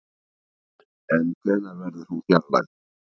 En hvenær verður hún fjarlægð?